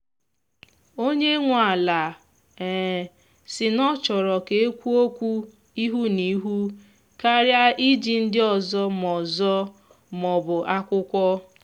onye nwe ala um si na ọ chọrọ ka ekwuo okwu ihu na ihu karịa iji ndị ọzọ ma ọzọ ma ọ bụ akwụkwọ.